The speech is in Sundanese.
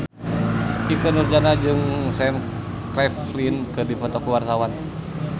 Ikke Nurjanah jeung Sam Claflin keur dipoto ku wartawan